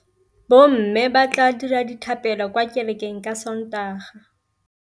Bommê ba tla dira dithapêlô kwa kerekeng ka Sontaga.